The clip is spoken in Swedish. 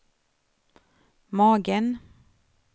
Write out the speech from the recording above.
magen